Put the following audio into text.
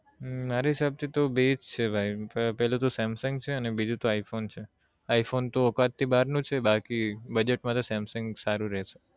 હમ મારા હિસાબ થી તો બે જ છે પેલું તો samsung છે અને બીજું તો i phone છે i phone તો ઓકાત થી બાર નો છે બાકી budget મા તો samsung સારું રેસે